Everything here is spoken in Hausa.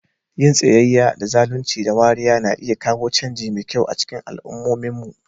Yin tsayayya da zalunci da wariya na iya kawo canji mai kyau a cikin al'ummominmu.